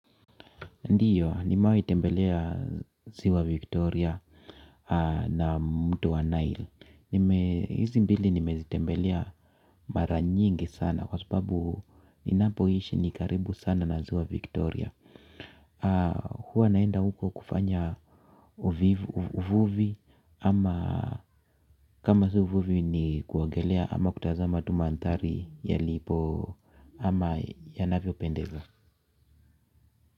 Ndiyo nimahi tembelea ziwa Victoria na mto wa Nile. Hizi mbili nimezitembelea mara nyingi sana kwa sababu ninapoishi ni karibu sana na ziwa Victoria. Huwa naenda huko kufanya uvuvi ama kama sio uvuvi ni kuongelea ama kutazama tu mandhari yalipo ama yanavyopendeza.